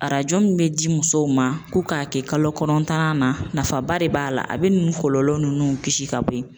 Arajo min bɛ di musow ma ko k'a kɛ kalo kɔnɔntɔnnan na nafaba de b'a la a bɛ nin kɔlɔlɔ ninnu kisi ka bɔ yen.